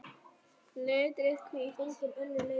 Letrið hvítt.